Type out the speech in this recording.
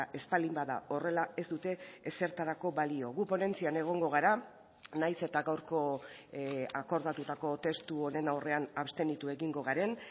ez baldin bada horrela ez dute ezertarako balio gu ponentzian egongo gara naiz eta gaurko akordatutako testu honen aurrean abstenitu egingo garen